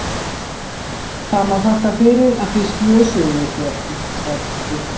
Það má þakka fyrir að þið slösuðuð ykkur ekki, sagði pabbi.